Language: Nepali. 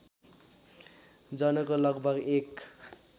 जनको लगभग १